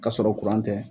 K'a sɔrɔ kuran tɛ